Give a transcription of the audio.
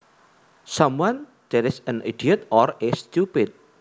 Someone that is an idiot or is stupid